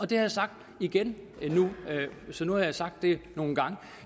det har jeg sagt igen så nu har jeg sagt det nogle gange